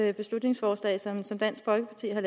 det beslutningsforslag som dansk folkeparti har